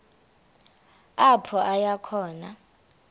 apho aya khona